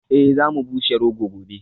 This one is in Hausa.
Eh za mu bushe rogo gobe